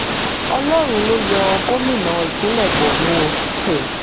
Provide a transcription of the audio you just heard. ọlọ́run ló yọ gómìnà ìpínlẹ̀ borno o um